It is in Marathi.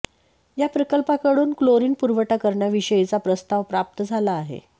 या प्रकल्पाकडून क्लोरीन पुरवठा करण्याविषयीचा प्रस्ताव प्राप्त झाला आहे